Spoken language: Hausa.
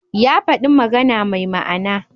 Ya faɗi magana mai ma'ana.